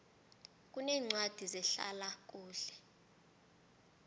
kuneencwadi zehlala kuhle